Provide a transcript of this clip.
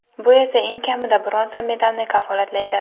Bu esa eng kamida bronza medalni kafolatlaydi.